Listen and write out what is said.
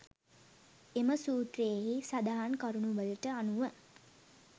එම සූත්‍රයෙහි සඳහන් කරුණුවලට අනුව